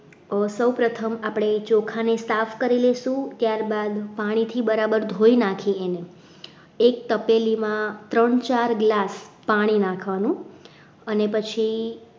સૌપ્રથમ આપણે ચોખા ને સાફ કરી લઈશું ત્યારબાદ પાણીથી બરાબર ધોઈ નાખીએ એક તપેલીમાં ત્રણ ચાર glass પાણી નાખવાનું અને પછી